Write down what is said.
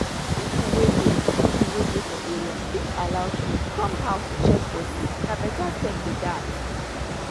people wey dey people wey dey for area fit allow chws come house to check body na better step be dat.